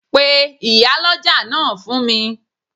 Pe Ìyálọ́jà náà fún mi